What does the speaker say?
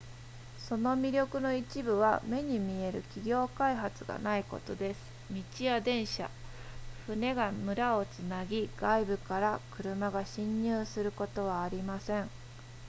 その魅力の一部は目に見える企業開発がないことです道や電車船が村をつなぎ外部から車が進入することはありません